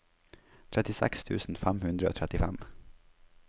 trettiseks tusen fem hundre og trettifem